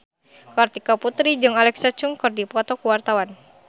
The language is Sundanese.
Kartika Putri jeung Alexa Chung keur dipoto ku wartawan